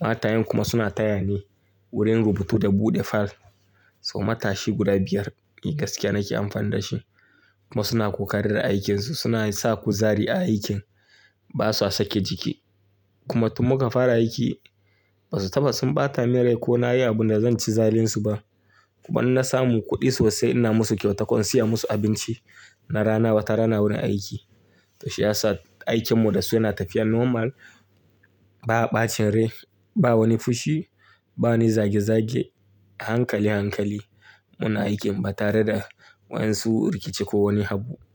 Matayen kuma suna taya ni wurin rubutu da buɗe fil. So matashi guda biyar mai gaskiya nake amfani da shi. Kuma suna ƙoƙari da ikin su. Suna sa kuzari a aikin. Ba sa sake jiki. Kuma tun muka fara aiki ba su taɓa sun ɓata min rai ko na yi abin da zan ci zalun su ba. Kuma in na samu kuɗi sosai ina musu kyauta ko in siya musu abinci na rana, wata rana wurin aiki. To shi ya sa aikin mu da su yana tafiya normal. Ba a ɓacin rai, ba wani fushi, ba wani zage zage, a hankali hankali muna aikin ba tare da wa su rikici ko wani abu.